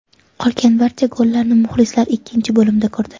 Qolgan barcha gollarni muxlislar ikkinchi bo‘limda ko‘rdi.